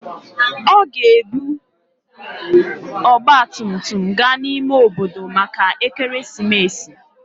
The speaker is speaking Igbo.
Ọ ga-ebu ọgba tum tum gaa n'ime obodo maka ekeresimesi.